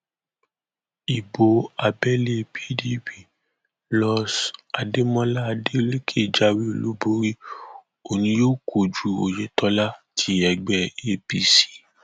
ibo abẹlé pdp los adémọlá adeleke jáwé olúborí òun ni yóò kojú oyetola ti ẹgbẹ apc